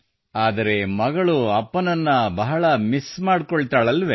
ಆದರೆ ಮಗಳು ಅಪ್ಪನನ್ನು ಬಹಳ ಮಿಸ್ ಮಾಡಿಕೊಳ್ಳುತ್ತಾಳಲ್ಲವೇ